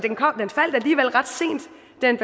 den